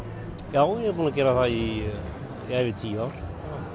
já ég er búin að gera það í yfir tíu ár